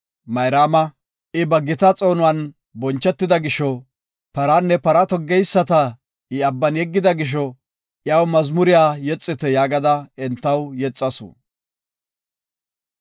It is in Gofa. Mayraama, “I ba gita xoonuwan bonchetida gisho, Paranne para toggeyisata I Abban yeggida gisho, Iyaw mazmuriya yexite” yaagada entaw yexasu.